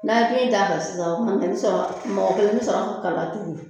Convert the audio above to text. N'a ye kili da a kan sisan o kumana i be sɔrɔ, mɔgɔ kelen bɛ sɔrɔ ka kala turu.